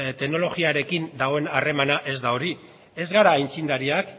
teknologikoarekin dagoen harremana ez da hori ez gara aitzindariak